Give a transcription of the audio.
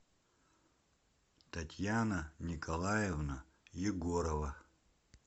татьяна николаевна егорова